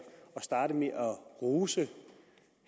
at starte med at rose